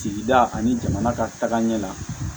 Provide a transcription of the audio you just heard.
Sigida ani jamana ka tagaɲɛ la